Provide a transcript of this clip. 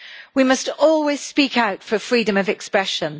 We must always speak out for freedom of expression.